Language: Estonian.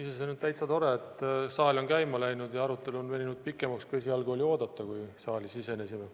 Iseenesest on täitsa tore, et saal käima on läinud ja arutelu on veninud pikemaks, kui esialgu oli oodata, kui saali sisenesime.